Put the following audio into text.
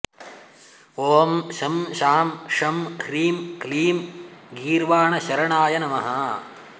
ॐ शं शां षं ह्रीं क्लीं गीर्वाणशरणाय नमः